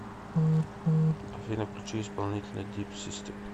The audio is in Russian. афина включи исполнителя дип систем